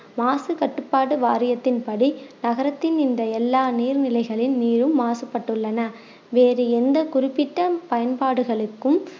மாசு கட்டுப்பாடு வாரியத்தின் படி நகரத்தின் இந்த எல்லா நீர் நிலைகளின் நீரும் மாசுப்பட்டுள்ளன வேறு எந்த குறிப்பிட்ட பயன்பாடுகளுக்கும்